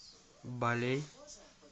балей